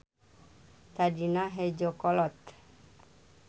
Tadina hejo kolot.